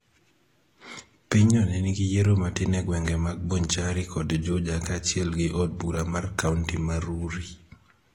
Pinyno ne nigi yiero matin e gwenge mag Bonchari kod Juja kaachiel gi od bura mar kaonti ma Rurii.